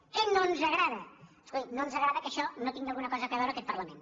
què no ens agrada escolti no ens agrada que en això no tingui alguna cosa a veure aquest parlament